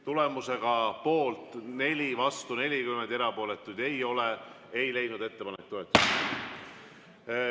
Tulemusega poolt 4, vastu 40, erapooletuid ei ole, ei leidnud ettepanek toetust.